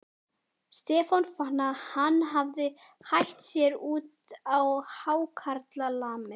Stefán fann að hann hafði hætt sér út á hákarlamið.